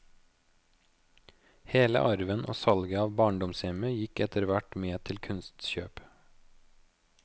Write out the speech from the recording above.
Hele arven og salget av barndomshjemmet gikk etter hvert med til kunstkjøp.